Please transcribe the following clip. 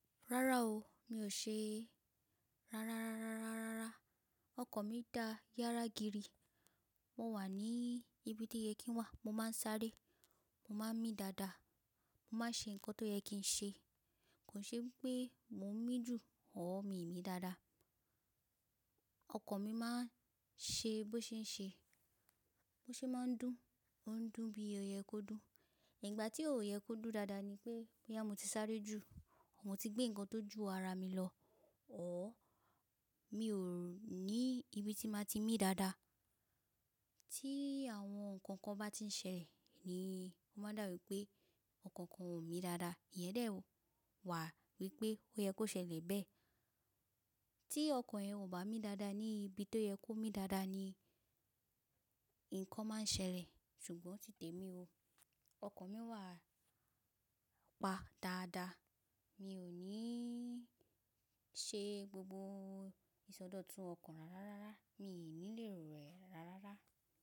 Rárá o, mi ò ṣe rárá rárá rárá ra. Ọkàn mi dàa yáragiri. Mo wà ní ibi tó yẹ kí n wà, mo máa ń sáré, mo máa ń mì dáadáa, mo máa ń ṣe nǹkan tó yẹ kí n ṣe. Kò n ṣe wipé mò ń mì jù or, mii mì dáadáa. Ọkàn mi máa ń ṣe bó ṣe ń ṣe, bó ṣe máa ń dùn, ó ń dùn bí ó yẹ kó dùn. Ìgbà tí ò yẹ kó dùn dáadáa ni pé, bóyá mo ti sáré ju, mo ti gbe ǹkan tó ju ara mi lọ or, mi ò ní ibi tí màá ti mì dáadáa. Tí àwọn nǹkan kan bá ti ń ṣẹlẹ̀ ni o máa n dàbi pé ọkàn kan ò mì dáadáa. Íyẹn dè o wà wípé ó yẹ kó ṣẹlẹ̀ bẹ́ẹ̀. Tí ọkàn yẹn ò bá mì dáadáa ní ibi tó yẹ kó mì dáadáa ni nǹkan máa ń ṣẹlẹ̀, ṣùgbọ́n ti tèmi o. Ọkàn mi wà pa dáadáa. Mi ò ní ṣe gbogbo ìsọdọ̀tun ọkàn rárá rárá, mi i ní lè ro ẹ̀ rárárá.